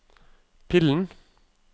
pillen